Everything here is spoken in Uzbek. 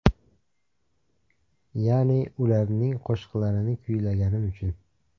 Ya’ni, ularning qo‘shiqlarini kuylaganim uchun.